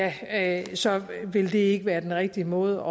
at så vil det ikke være den rigtige måde